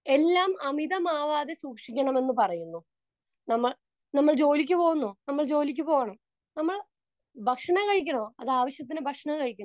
Speaker 2 എന്തുകൊണ്ട് എല്ലാം അമിതമാവാതെ സൂക്ഷിക്കണമെന്ന് പറയുന്നു? നമ്മൾ, നമ്മൾ ജോലിക്കു പോകണോ? നമ്മൾ ജോലിക്കു പോകണം. നമ്മൾ ഭക്ഷണം കഴിക്കണോ? അത് ആവശ്യത്തിന് ഭക്ഷണം കഴിക്കണം.